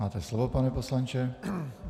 Máte slovo, pane poslanče.